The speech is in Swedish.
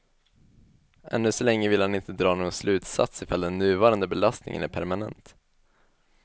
Ännu så länge vill han inte dra någon slutsats ifall den nuvarande belastningen är permanent.